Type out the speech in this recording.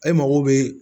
E mago bɛ